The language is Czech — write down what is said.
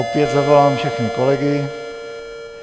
Opět zavolám všechny kolegy.